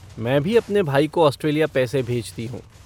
मैं भी अपने भाई को ऑस्ट्रेलिया पैसे भेजती हूँ।